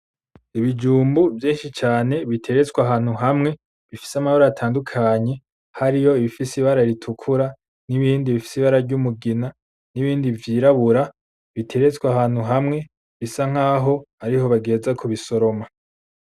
Ikijumbu vyinshi cane biteretse ahantu hamwe bifise amabara atandukanye, harimwo ibifise ibara ritukura ,nibifise ibara ryumugina nibindi vyirabura biteretswe ahantu hamwe bisankaho ariho bagiheza kugisoroma.